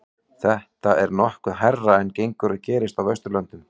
þetta er nokkuð hærra en gengur og gerist á vesturlöndum